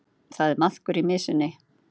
Það er maðkur í mysunni